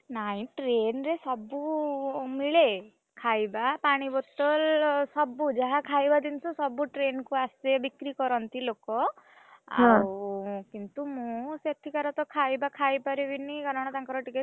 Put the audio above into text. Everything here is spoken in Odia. ନାଇଁ train ରେ ସବୁ ମିଳେ, ଖାଇବା, ପାଣି ବୋତଲ, ସବୁ ଯାହା ଖାଇବା ଜିନିଷ ସବୁ train କୁ ଆସେ ବିକ୍ରି କରନ୍ତି ଲୋକ, ଆଉ କିନ୍ତୁ ମୁଁ ସେଠିକାର ତ ଖାଇବା ଖାଇପାରିବିନି କାରଣ ତାଙ୍କର ଟିକେ।